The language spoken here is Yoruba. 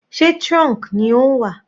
Sé trunk ni ó ń wà?